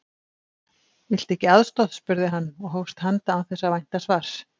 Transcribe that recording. Viltu ekki aðstoð? spurði hann og hófst handa án þess að vænta svars.